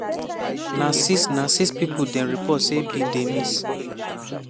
na six na six pipo dem report say bin dey miss.